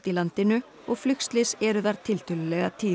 í landinu og flugslys eru þar tiltölulega tíð